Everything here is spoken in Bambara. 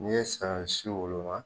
Ni ye saɲɔ si woloma.